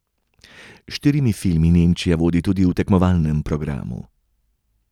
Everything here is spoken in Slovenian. S štirimi filmi Nemčija vodi tudi v tekmovalnem programu.